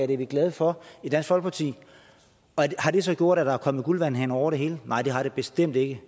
det er vi glade for i dansk folkeparti har det så gjort at der er kommet guldvandhaner over det hele nej det har det bestemt ikke